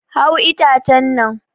Hau itacen nan!